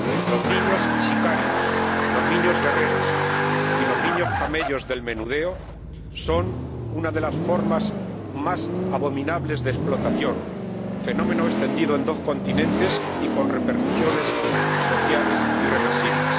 Los niños sicarios, los niños guerreros y los niños camellos del menudeo son una de las formas más abominables de explotación, fenómeno extendido en dos continentes y con repercusiones sociales irreversibles.